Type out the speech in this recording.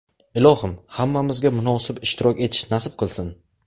Ilohim, hammamizga munosib ishtirok etish nasib qilsin!